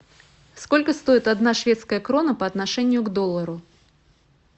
сколько стоит одна шведская крона по отношению к доллару